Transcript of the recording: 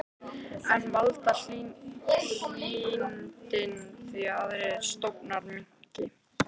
En valda hlýindin því að aðrir stofnar minnki?